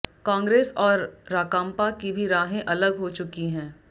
कांग्रेस और राकांपा की भी राहें अलग हो चुकी हैं